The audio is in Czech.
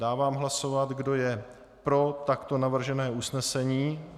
Dávám hlasovat, kdo je pro takto navržené usnesení.